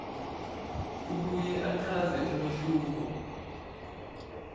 abuye achaze umehluko